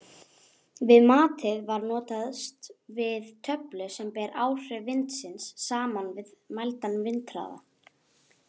Við matið var notast við töflu sem ber áhrif vindsins saman við mældan vindhraða.